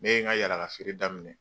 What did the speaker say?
Ne ye n ka yaalakafeere daminɛ